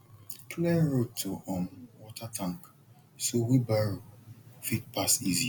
clear road to um water tank so wheelbarrow fit pass easy